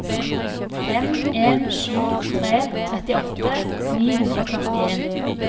fem en sju tre trettiåtte ni hundre og førtien